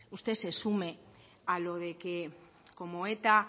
usted se sume a lo de que como eta